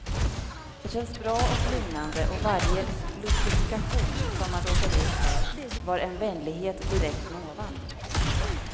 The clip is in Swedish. Det kändes bra och lugnande och varje lustifikation som man råkade ut för, var en vänlighet direkt från ovan.